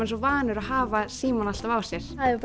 svo vanur að hafa símann alltaf á sér það hefur